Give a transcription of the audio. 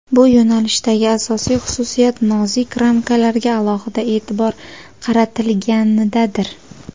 Bu yo‘nalishdagi asosiy xususiyat nozik ramkalarga alohida e’tibor qaratilganidadir.